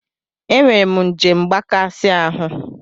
Enwere m njem mgbakasị ahụ.